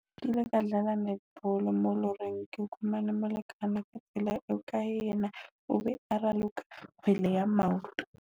Ke ile ka dlala netball mo loreng, ke fumane molekane ka tsela eo kae, yena o be a raloka bolo ya maoto.